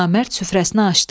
Namərd süfrəsini açdı.